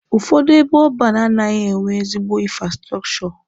Ụfọdụ ebe ọban anaghị enwe ezigbo infrastrọchọ.